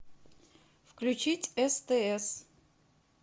включить стс